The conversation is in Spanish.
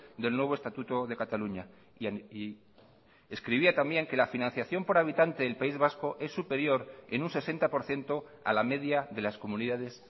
del nuevo estatuto de cataluña escribía también que la financiación por habitante del país vasco es superior en un sesenta por ciento a la media de las comunidades